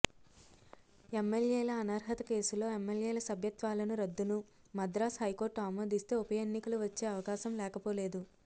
ఎమ్మెల్యేల అనర్హత కేసులో ఎమ్మెల్యేల సభ్యత్వాలను రద్దును మద్రాస్ హైకోర్టు ఆమోదిస్తే ఉప ఎన్నికలు వచ్చే అవకాశం లేకపోలేదు